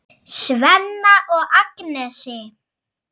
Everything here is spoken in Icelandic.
Svenna og Agnesi.